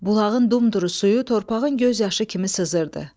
Bulağın dumduru suyu torpağın göz yaşı kimi sızırdı.